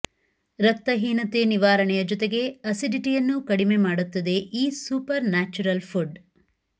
ರಕ್ತಹೀನತೆ ನಿವಾರಣೆಯ ಜೊತೆಗೆ ಆಸಿಡಿಟಿಯನ್ನು ಕಡಿಮೆಮಾಡುತ್ತದೆ ಈ ಸೂಪರ್ ನ್ಯಾಚರಲ್ ಫುಡ್